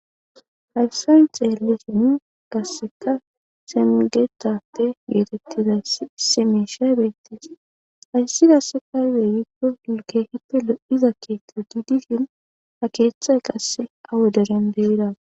hayfsayn xeelisin kasseka semgetate geetettizay seme shay beettis hayssidasse kaydey yikko gulkehippe lo7iza keethta didifin ha keeththay qasse awo deren deira